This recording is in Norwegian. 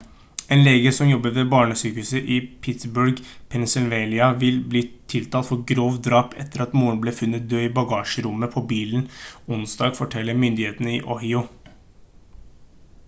en lege som jobbet ved barnesykehuset i pittsburgh pennsylvania vil bli tiltalt for grovt drap etter at moren ble funnet død i bagasjerommet på bilen onsdag forteller myndighetene i ohio